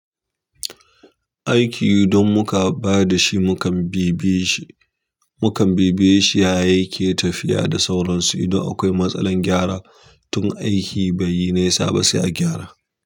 Aiki idan muka bada shi, muka bibiye shi, mukam bibiye shi ya yake tafiya da sauransu idan akwai matsalar gyara. Tun aiki bai yi nesa ba sai a gyara.